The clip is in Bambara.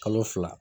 Kalo fila